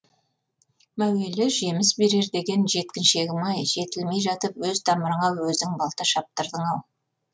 мәуелі жеміс берер деген жеткіншегім ай жетілмей жатып өз тамырыңа өзің балта шаптырдың ау